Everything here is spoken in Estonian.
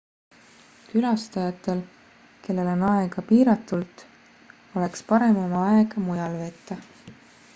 külastajatel kellel on aega piiratult oleks parem oma aega mujal veeta